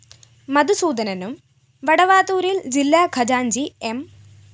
മധുസൂദനനും വടവാതൂരില്‍ ജില്ലാ ഖജാന്‍ജി എം